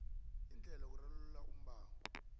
iindlela zokurarulula umbango